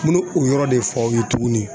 N bɛ o yɔrɔ de fɔ aw ye tuguni